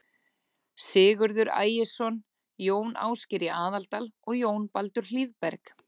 Sigurður Ægisson, Jón Ásgeir í Aðaldal og Jón Baldur Hlíðberg.